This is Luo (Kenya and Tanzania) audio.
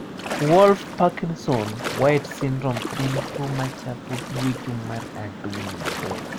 Wolff Parkinson White syndrome en tuo machapo gwecho mar adundo.